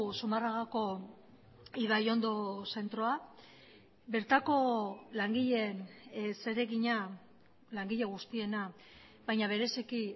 zumarragako ibaiondo zentroa bertako langileen zeregina langile guztiena baina bereziki